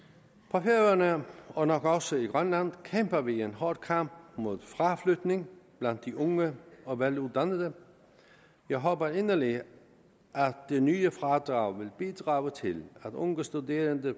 på færøerne og nok også i grønland kæmper vi en hård kamp mod fraflytning blandt de unge og veluddannede jeg håber inderligt at det nye fradrag vil bidrage til at unge studerende